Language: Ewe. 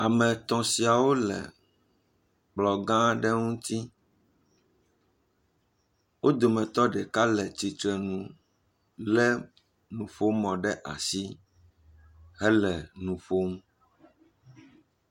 Ame tɔ̃ siawo le kplɔ gã ɖe ŋuti, wo dometɔ ɖeka le tsitre nu, lé nuƒomɔ ɖe asi hele nu ƒom.